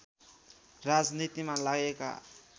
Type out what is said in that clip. राजनीतिमा लागेका